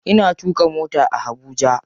Ina tuƙa mota a Habuja.